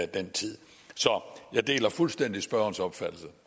den tid så jeg deler fuldstændig spørgerens opfattelse